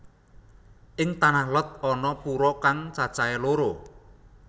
Ing Tanah Lot ana pura kang cacahé loro